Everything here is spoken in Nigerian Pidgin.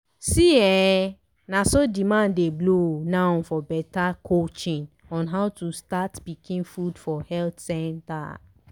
see eh na so demand dey blow now for better coaching on how to start pikin food for health centers!